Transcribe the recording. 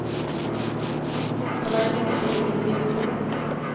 Han er imidlertid ingen rik konge.